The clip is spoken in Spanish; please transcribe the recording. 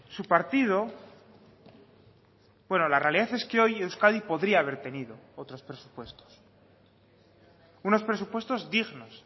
su partido bueno la realidad es que hoy euskadi podría haber tenido otros presupuestos unos presupuestos dignos